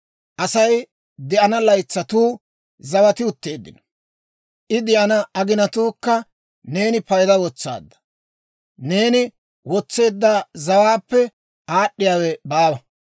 Asay de'ana laytsatuu zawati utteeddino; I de'ana aginaakka neeni payda wotsaadda; neeni wotseedda zawaappe aad'd'iyaawe baawa.